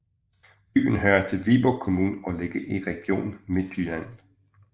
Byen hører til Viborg Kommune og ligger i Region Midtjylland